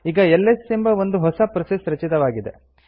ಈಗ ಎಲ್ಎಸ್ ಎಂಬ ಒಂದು ಹೊಸ ಪ್ರೋಸೆಸ್ ರಚಿತವಾಗಿದೆ